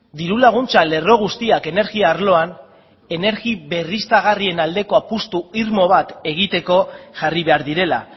diru laguntza lerro guztiak energia arloan energi berriztagarrien aldeko apustu irmo bat egiteko jarri behar direla